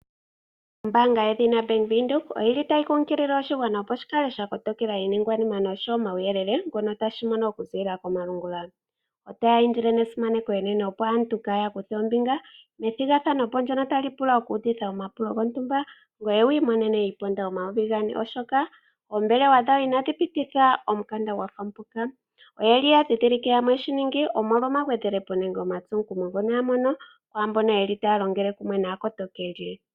Ombaanga yedhina Bank Windhoek otayi kumagidha oshigwana opo shi kale sha kotokela iiningwanima noshowo omauyelele ngono tashi mono okuziilila komalungula. Otaya indile nesimaneko enene, opo aantu kaya kuthe ombinga methigathano ndyono tali pula okuudhitha omapulo gontumba ngoye wi imonene iiponda omayovi gane, oshoka oombelewa dhawo inadhi pititha omukanda gwa fa mpoka. Oya dhindhilike yamwe ye shi ningi omolwa omagwedhelepo nenge omatsomukumo ngono ya mono kwaa mbono ye li taa longele kumwe naakotokeli.